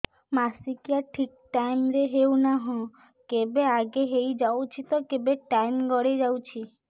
ମାସିକିଆ ଠିକ ଟାଇମ ରେ ହେଉନାହଁ କେବେ ଆଗେ ହେଇଯାଉଛି ତ କେବେ ଟାଇମ ଗଡି ଯାଉଛି